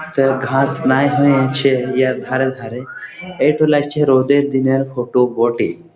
তো ঘাস নাই হয়েছে ইয়ার ধারে ধারে। এটো লাগছে রোদের দিনের ফটো বটে ।